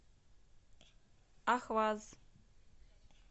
ахваз